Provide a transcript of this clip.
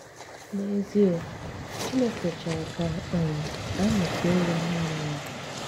N'èzịè, Chínékè chọ̀rọ̀ kà um ànyị́ féè yá nànị́ yá.